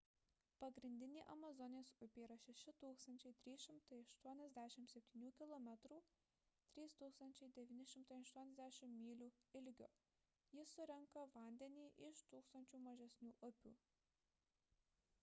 pagrindinė amazonės upė yra 6 387 km 3 980 mylių ilgio. ji surenka vandenį iš tūkstančių mažesnių upių